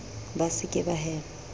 ba se ke ba hema